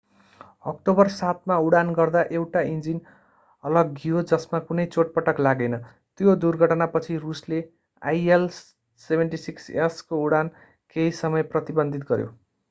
October 7 मा उडान गर्दा एउटा इन्जिन अलग्गियो जसमा कुनै चोटपटक लागेन। त्यो दुर्घटनापछि रूसले il-76s को उडान केही समय प्रतिबन्धित गर्‍यो।